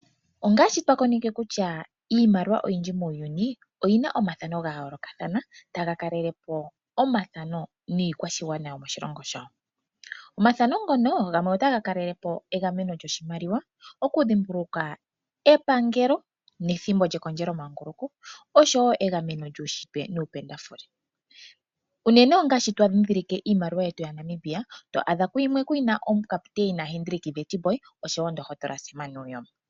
Ongaashi twa koneke kutya iimaliwa oyindji muuyuni oyi na omathano ga yoolokathana taga kalele po omathano niikwashigwana yo moshilongo shawo. Omathano ngono gamwe otaga kalele po egameno lyoshimaliwa, oku dhimbulukwa epangelo nethimbo lyekondjelo manguluko osho wo egameno lyuunshitwe nuupendafule. Unene ongaashi twa dhidhilike iimaliwa yetu yaNamibia to adha ku yimwe ku na omukaputeina Hendrick Witbooi osho wo ndohotola Sam Nujoma.